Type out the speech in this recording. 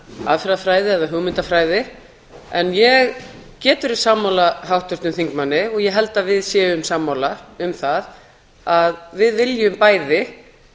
aðferðafræði eða hugmyndafræði en ég get verið sammála háttvirtum þingmanni og ég held að við séum sammála um það að við viljum bæði